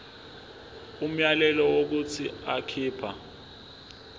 umyalelo wokuthi akhipha